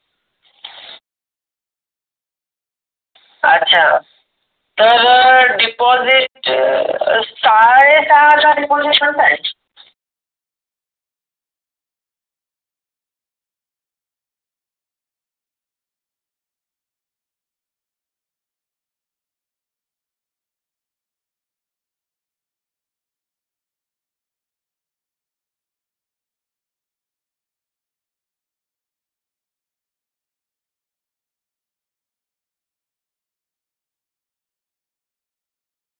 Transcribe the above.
अच्छा तर deposit अं .